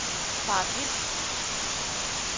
faret vild